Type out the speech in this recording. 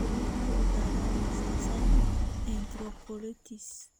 Sidee loo ogaadaa mastocytic enterocolits?